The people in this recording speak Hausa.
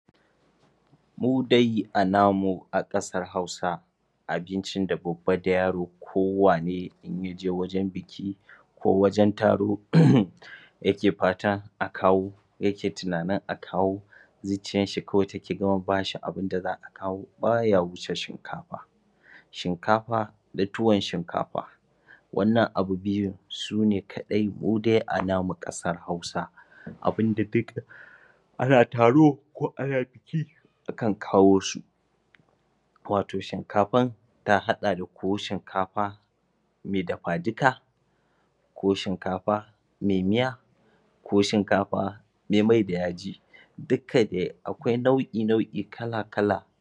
Mu dai a namu a ƙasar Hausa Abincin da babba da yaro ko wane idan ya je gidan biki ko wajen taro yake fatan a kawo yake tunanin a kawo zuciyanshi kawai take gama ba shi abunda za a kawo ba ya wuce shinkafa shinkafa da tuwon shinkafa wannan abu biyu sune kaɗai mu dai a namu ƙasar Hausa. abun da ana taro ko ana biki akan kawo su wato shinkafan ta haɗa da ko shinkafa mai dafa-duka ko shinkafa mai miya ko shinkafa mai mai-da-yaji. dukkan dai akwai nau'i nau'i kala-kala